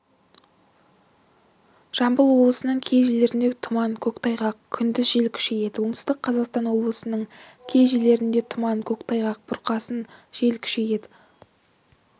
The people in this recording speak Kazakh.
жамбыл облысының кей жерлерінде тұман көктайғақ күндіз жел күшейеді оңтүстік қазақстан облысының кей жерлерінде тұман көктайғақ бұрқасын жел күшейеді